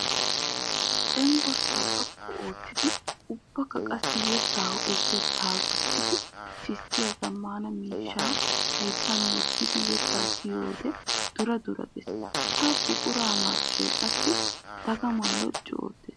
Cenggurssa xoqqu oottiddi ubbakka qassi yetta ho'otetta gujjiddi sissiya zamaana miishsha hayttan wottiddi yetta siyiyodde dura dura gees! Ha buquray marccoy qassi dagama loccu ootes!